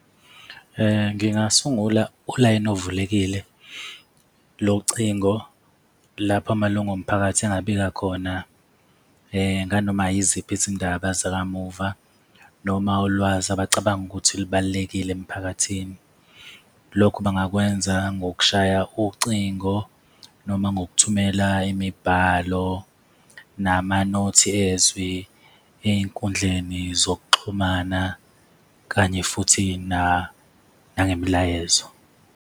Ngingasungula ulayini ovulekile locingo lapho amalungu omphakathi angabika khona nganoma yiziphi izindaba zakamuva noma ulwazi abacabanga ukuthi lubalulekile emphakathini. Lokhu bangakwenza ngokushaya ucingo noma ngokuthumela imibhalo nama-note ezwi ey'nkundleni zokuxhumana kanye futhi nangemilayezo.